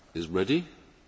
Donc je vais